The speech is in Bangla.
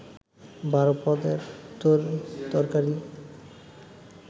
১২ পদের তরি তরকারি